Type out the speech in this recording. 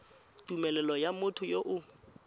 tumelelo ya motho yo o